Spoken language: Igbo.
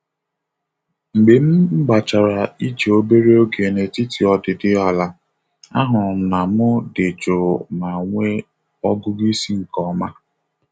Mgbe m gbachara ije obere oge n'etiti odịdị ala, ahụrụ m na mụ dị jụụ ma nwee ọgụgụ isi nke ọma.